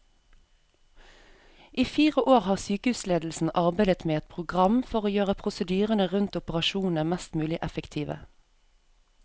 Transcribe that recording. I fire år har sykehusledelsen arbeidet med et program for å gjøre prosedyrene rundt operasjonene mest mulig effektive.